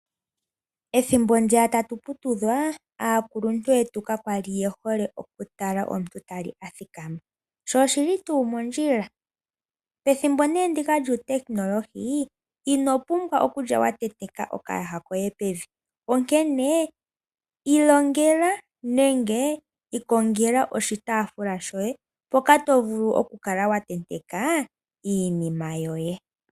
Ethimbo ndiya tatu putudhwa aakuluntu yetu kakwali yehole okutala omuntu tali a thikama sho oshili tuu mondjila. Pethimbo nee ndika lyuutekinolohi inopumbwa okulya watenteka okayaha koye pevi, onkene ilongela nenge ikongela oshitaafula shoye mpoka tovulu okukala watenteka iinima yoye.